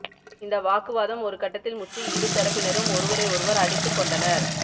இந்த வாக்குவாதம் ஒரு கட்டத்தில் முற்றி இரு தரப்பினரும் ஒருவரை ஒருவர் அடித்துக் கொண்டனர்